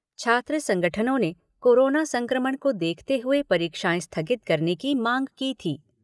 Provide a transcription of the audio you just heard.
छात्र संगठनों ने कोरोना संक्रमण को देखते हुए परीक्षाएं स्थगित करने की मांग की थी।